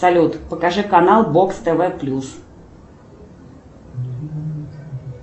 салют покажи канал бокс тв плюс